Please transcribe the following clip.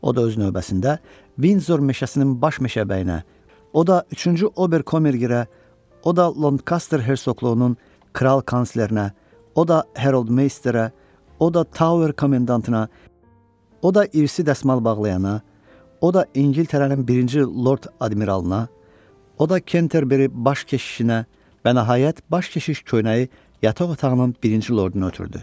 O da öz növbəsində Vinzor meşəsinin baş meşəbəyinə, o da üçüncü Oberkomergirə, o da Lonkaster Hersoqluğunun kral kanslerinə, o da Herold Meisterə, o da Tower komendantına, o da İrisi dəsmal bağlayana, o da İngiltərənin birinci Lord Admiralına, o da Kenterberri baş keşişinə və nəhayət baş keşiş köynəyi yataq otağının birinci lorduna ötürdü.